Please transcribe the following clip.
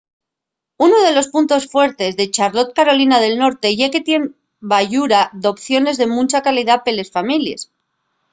unu de los puntos fuertes de charlotte carolina del norte ye que tien bayura d’opciones de muncha calidá pa les families